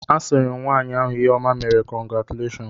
A sị m nwaanyị ahụ ihe ọma meere, kọngratuleshọn.